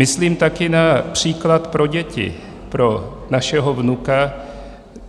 Myslím také na příklad pro děti, pro našeho vnuka,